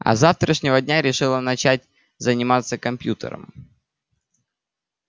а с завтрашнего дня решила начать заниматься компьютером